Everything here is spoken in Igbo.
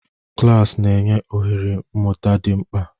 Klas na-enye oghere mmụta dị mkpa.